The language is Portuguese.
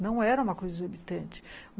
Não era uma coisa exorbitante.